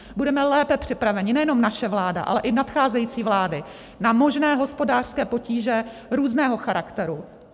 Budeme lépe připraveni, nejenom naše vláda, ale i nadcházející vlády, na možné hospodářské potíže různého charakteru.